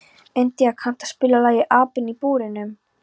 India, kanntu að spila lagið „Apinn í búrinu“?